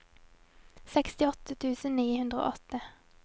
sekstiåtte tusen ni hundre og åtte